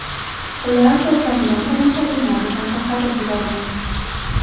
Ular to‘plangan tomoshabinlarni ham tarqatib yuborgan.